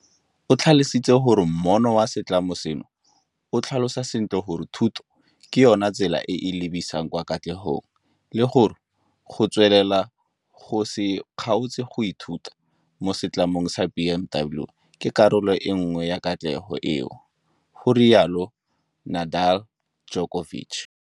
O tlhalositse gore moono wa setlamo seno o tlhalosa sentle gore thuto ke yona tsela e e lebisang kwa katlegong, le gore, go tswelela go se kgaotse go ithuta mo Setlamong sa BMW ke karolo e nngwe ya katlego eo, ga rialo Nedeljkovic.